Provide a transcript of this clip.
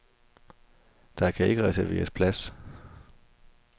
Der kan ikke reserveres plads.